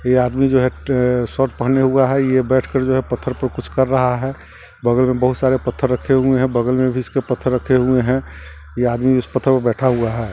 ये आदमी जो है अ शर्ट पहने हुआ है ये बैठे कर जो है पत्थर पे कुछ कर रहा है बगल में बहुत सारे पत्थर रखे हुए है बगल में भी इसके पत्थर रखे हुए है ये आदमी उस पत्थरों पर बैठा हुआ है।